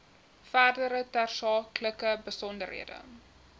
verdere tersaaklike besonderhede